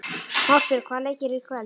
Ástbjörg, hvaða leikir eru í kvöld?